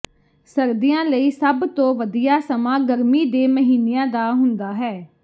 ਸਰਦੀਆਂ ਲਈ ਸਭ ਤੋਂ ਵਧੀਆ ਸਮਾਂ ਗਰਮੀ ਦੇ ਮਹੀਨਿਆਂ ਦਾ ਹੁੰਦਾ ਹੈ